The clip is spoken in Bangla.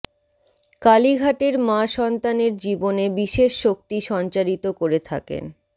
কালীঘাটের মা সন্তানের জীবনে বিশেষ শক্তি সঞ্চারিত করে থাকেন